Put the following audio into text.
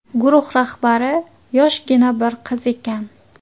Guruh rahbari yoshgina bir qiz ekan.